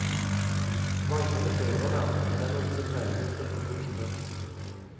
Manglende førervern er en av disse fellene en skal få bukt med.